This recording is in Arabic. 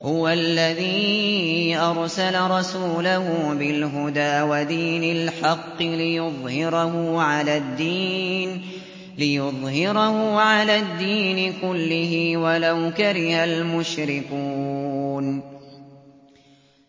هُوَ الَّذِي أَرْسَلَ رَسُولَهُ بِالْهُدَىٰ وَدِينِ الْحَقِّ لِيُظْهِرَهُ عَلَى الدِّينِ كُلِّهِ وَلَوْ كَرِهَ الْمُشْرِكُونَ